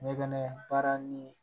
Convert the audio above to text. Ɲɛgɛn baara ni